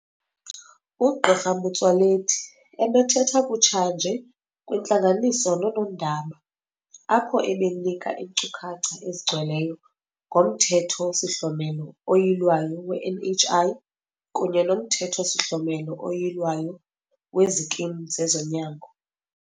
UGq Motsoaledi ebethetha kutshanje kwintlanganiso nonoondaba apho ebenika iinkcukacha ezigcweleyo ngoMthetho-sihlomelo oYilwayo we-NHI kunye noMthetho-sihlomelo oYilwayo weziKimu zezoNyango.